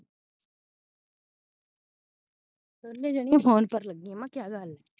ਦੋਨੇ ਜਾਣੀਆਂ phone ਪਰ ਲਗਿਆ ਮੈਂ ਕਿਆ ਗਲ